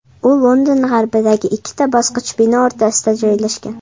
U London g‘arbidagi ikkita boshqa bino o‘rtasida joylashgan.